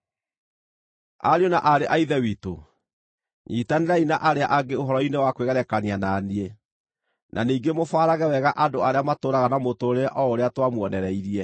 Ariũ na aarĩ a Ithe witũ, nyiitanĩrai na arĩa angĩ ũhoro-inĩ wa kwĩgerekania na niĩ, na ningĩ mũbaarage wega andũ arĩa matũũraga na mũtũũrĩre o ũrĩa twamuonereirie.